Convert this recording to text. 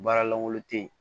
Baara lankolon te yen